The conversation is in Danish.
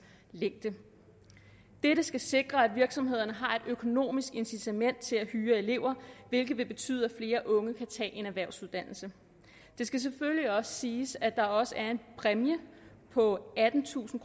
længde dette skal sikre at virksomhederne har et økonomisk incitament til at hyre elever hvilket vil betyde at flere unge kan tage en erhvervsuddannelse det skal selvfølgelig også siges at der også er en præmie på attentusind